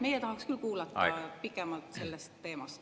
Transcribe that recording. Meie tahaks küll kuulata pikemalt sellest teemast.